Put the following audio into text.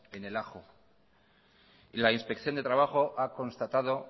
en el ajo y la inspección de trabajo a constatado